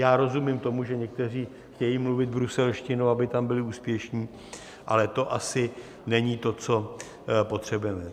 Já rozumím tomu, že někteří chtějí mluvit bruselštinou, aby tam byli úspěšní, ale to asi není to, co potřebujeme.